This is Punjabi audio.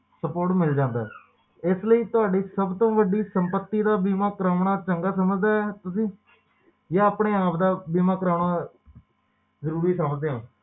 ਸਪੋਰਟ ਮਿਲ ਜਾਂਦਾ ਹੈ ਇਸ ਲਈ ਤੁਹਾਡੀ ਸਭ ਤੋਂ ਵੱਡੀ ਸੰਪਤੀ ਦਾ ਬੀਮਾ ਕਰਾਉਣਾ ਚੰਗਾ ਸਮਝਦਾ ਹਾ ਤੁਸੀਂ ਜਾਂ ਆਪਣੇ ਆਪ ਦਾ ਬੀਮਾ ਕਰਾਉਣਾ ਜ਼ਰੂਰੀ ਸਮਝਦੇ ਹੋ